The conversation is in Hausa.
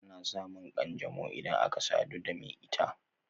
Ana samun kanjanau idan aka sadu da me ita